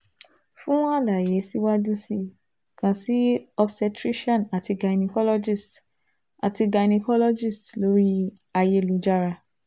fun alaye siwaju si i kan si obstetrician ati gynecologist ati gynecologist lórí i ayélujára